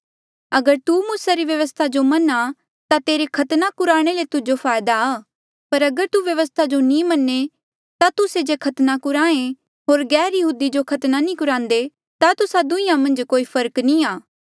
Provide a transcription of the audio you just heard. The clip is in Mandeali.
अगर तू मूसा री व्यवस्था जो मन्ना ता तेरा खतने कुराणे ले तुजो फायदा पर अगर तू व्यवस्था जो नी मन्ने ता तुस्से जे खतना कुराहें होर गैरयहूदी जो खतना नी कुरांदे ता तुस्सा दुहीं मन्झ कोई फर्क नी आ